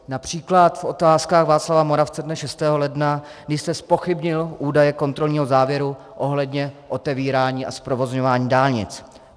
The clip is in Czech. Například v Otázkách Václava Moravce dne 6. ledna, když jste zpochybnil údaje kontrolního závěru ohledně otevírání a zprovozňování dálnic.